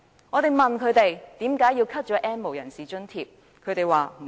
我們問他們，為何削減 "N 無人士"的津貼？